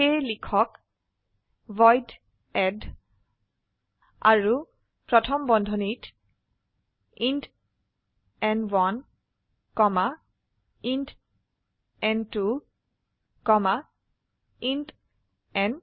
সেয়ে লিখক void add আৰু প্ৰথম বন্ধনীত ইণ্ট ন1 কমা ইণ্ট ন2 কমা ইণ্ট ন3